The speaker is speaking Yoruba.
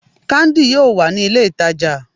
Candi, yoo wa ni ile itaja